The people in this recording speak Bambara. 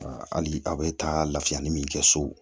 hali a bɛ taa lafiya ni min kɛ so